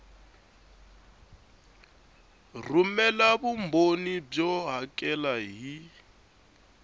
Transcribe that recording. rhumela vumbhoni byo hakela hi